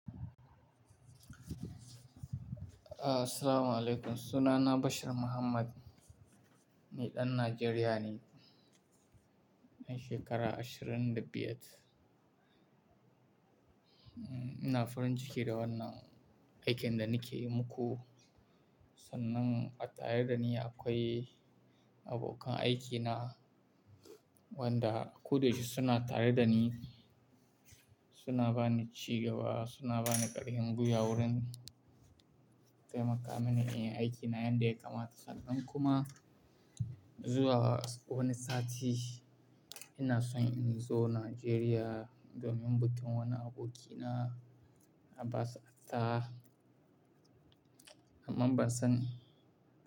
Ah, assalamualaikum. Sunana Bashir Muhammad. Ni ɗan Najeriya ne, ɗan shekara ashirin da biyar. Mm, ina farin ciki da wannan aikin da nake yi muku. Sannan a tare da ni akwai abokan aikina wanda ko da yaushe suna tare da ni. Suna ba ni cigaba, suna ba ni ƙarfin gwiwa wurin taimaka mini in yi aikina yanda ya kamata. Sannan kuma zuwa wani sati ina so in zo Najeriya domin bikin wani abokina Abbas Attah. Amma ban san.